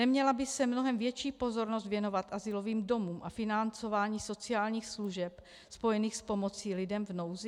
Neměla by se mnohem větší pozornost věnovat azylovým domům a financování sociálních služeb spojených s pomocí lidem v nouzi?